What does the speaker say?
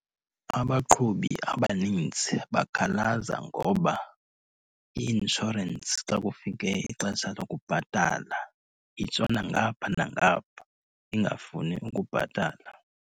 Abaqhubi abaninzi bakhalaza ngoba i-inshorensi xa kufike ixesha lokubhatala itshona ngapha nangapha, ingafuni ukubhatala.